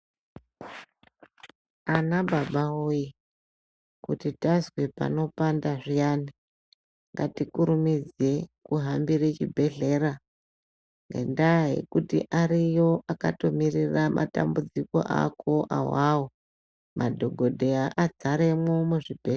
Ana baba woye kuti tazwe panooanfda zviyani ngatikurumidzei kuhambira chibhedhlera ngendaa yekuti ariyo akatomirira matambudziko awawo madhokodheya adzaramwo muzvibhehlera.